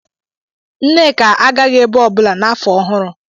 Nneka agaghị ebe ọbụla n'afọ ọhụrụ.